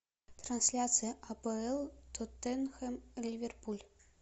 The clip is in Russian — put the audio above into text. трансляция апл тоттенхэм ливерпуль